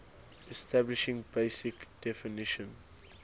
establishing basic definition